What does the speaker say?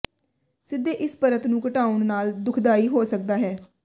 ਸਿੱਧੇ ਇਸ ਪਰਤ ਨੂੰ ਘਟਾਉਣ ਨਾਲ ਦੁਖਦਾਈ ਹੋ ਸਕਦਾ ਹੈ